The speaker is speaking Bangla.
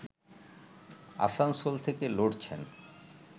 আসানসোল থেকে লড়ছেন